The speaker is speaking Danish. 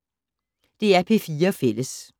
DR P4 Fælles